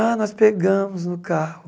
Ah, nós pegamos no carro.